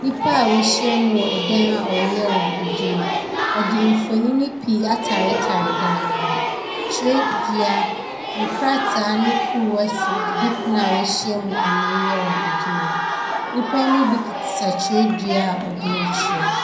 Nnipa a wɔahyiam wɔ dan a wɔreyɛ wɔn adwuma. Wɔde mfonini pii ataretare dan no ho. Twerɛdua, nkrataa ne kuruwa si didipono a wɔahyiam a wɔreyɛ wɔn adwuma no. nnipa yi mu bi kita twerɛdua a wɔde retwerɛ.